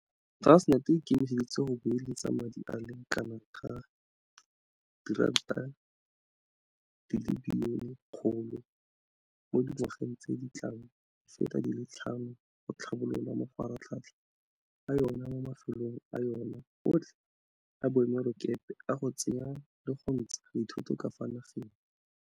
Transnet e ikemiseditse go beeletsa madi a le kanaka R100 bilione mo dingwageng tse di tlang di feta di le tlhano go tlhabolola mafaratlhatlha a yona mo mafelong a yona otlhe a boemelakepe a go tsenya le go ntsha dithoto ka fa nageng.